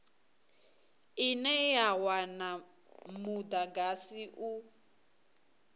ine ya wana mudagasi u